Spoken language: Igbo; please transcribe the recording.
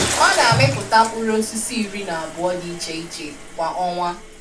Ọ na-amịpụta mkpụrụ osisi iri na abụọ dị iche iche kwa ọnwa.